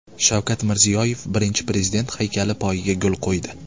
Shavkat Mirziyoyev Birinchi Prezident haykali poyiga gul qo‘ydi.